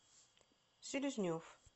селезнев